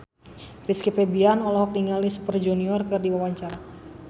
Rizky Febian olohok ningali Super Junior keur diwawancara